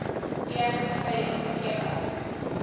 pianist plays thekla